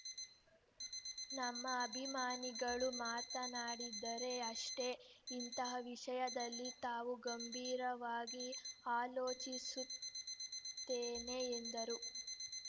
ನಮ್ಮ ಅಭಿಮಾನಿಗಳು ಮಾತನಾಡಿದ್ದರೆ ಅಷ್ಟೇ ಇಂತಹ ವಿಷಯದಲ್ಲಿ ತಾವು ಗಂಭೀರವಾಗಿ ಆಲೋಚಿಸುತ್ತೇನೆ ಎಂದರು